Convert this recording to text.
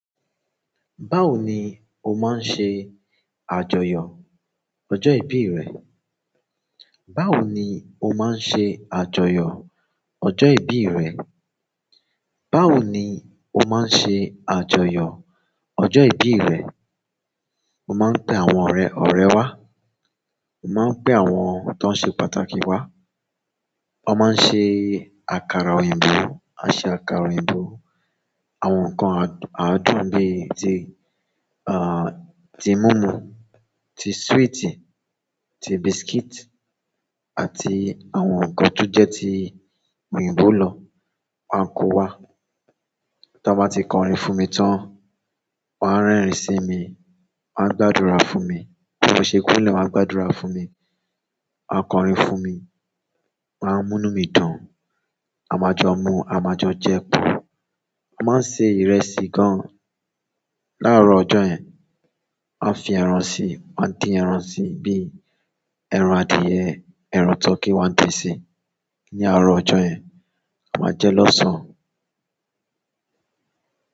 Báwo ni o máa ń ṣe àjọyọ̀ ọjọ́ ìbí rẹ? Báwo ni o máa ń ṣe àjọyọ̀ ọjọ́ ìbí rẹ? Báwo ni o máa ń ṣe àjọyọ̀ ọjọ́ ìbí rẹ? Mo máa ń pe àwọn ọ̀rẹ́, ọ̀rẹ́ wá. Mo máa ń pe àwọn tó ń ṣe pàtàkì wá. Wọ́n máa ń ṣe àkàrà òyìnbó, a ṣe àkàrà òyìnbó, àwọn nǹkan àádùn bí i ti imumu ti swíìtì, ti biscuit, àti àwọn nǹkan tó jẹ ti òyìnbó lọ máa kó wá. Tí wọ́n bá ti kọrin fún mi tán, wọ́n á rẹ́rìn sí mi, wọ́n á gbàdúrà fún mi. Tí wọ́n ṣe kúnlẹ̀, wọ́n á gbàdúrà fún mi. Wọn a kọrin fún mi, wọ́n a munu mi dùn, a ma jọ mu a ma jọ jẹ́. Wọ́n máa ń se ìrẹsì gan láàárọ̀ ọjọ́ yẹn. Wọ́n á fi ẹran sí, wọ́n á dín ẹran sí bí i ẹran adìẹ, ẹran tọkí wọ́n á dín si ní àárọ̀ ọjọ́ yẹn. A máa jẹ lọ́sàn-án.